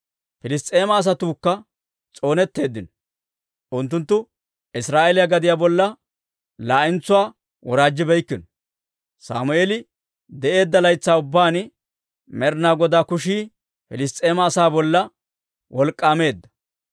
Piliss's'eema asatuukka s'oonetteeddino; unttunttu Israa'eeliyaa gadiyaa bolla laa'entsuwaa woraajjibeykino. Sammeeli de'eedda laytsaa ubbaan Med'inaa Godaa kushii Piliss's'eema asaa bolla wolk'k'aameedda.